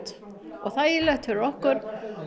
og þægilegt fyrir okkur